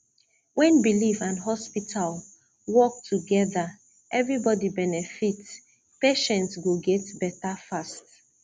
when belief and hospital work together everybody benefit patient go get better fast